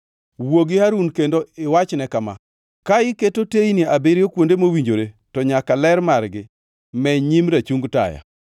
“Wuo gi Harun kendo iwachne kama: ‘Ka iketo teyni abiriyo kuonde mowinjore, to nyaka ler margi meny nyim rachung taya.’ ”